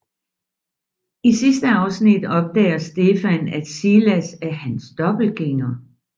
I sidste afsnit opdager Stefan at Silas er hans dobbeltgænger